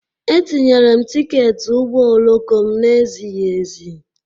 Etinyere m tiketi ụgbọ oloko m na-ezighi ezi.